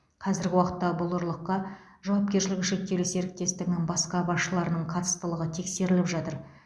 қазіргі уақытта бұл ұрлыққа жауапкершілігі шектеулі серіктестігінің басқа басшыларының қатыстылығы тексеріліп жатыр